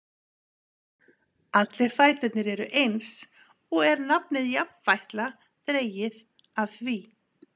Allir fæturnir eru eins, og er nafnið jafnfætla dregið af því.